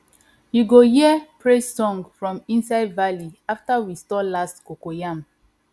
you go hear praise song from inside valley after we store last cocoyam